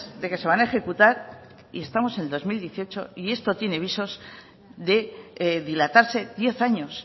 de que se van a ejecutar y estamos en el dos mil dieciocho y esto tiene visos de dilatarse diez años